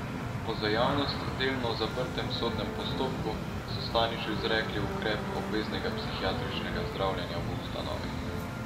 Po za javnost delno zaprtem sodnem postopku so Staniču izrekli ukrep obveznega psihiatričnega zdravljenja v ustanovi.